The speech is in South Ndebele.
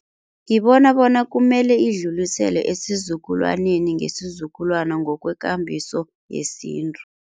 Ngibona bona kumele idluliselwe esizukulwaneni ngesizukulwana ngokwekambiso yesintu.